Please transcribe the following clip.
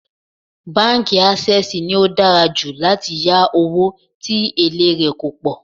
Báńkì Ásẹ́sìì ni ó dára jù láti yá owó tí èlé rè kò pọ̀.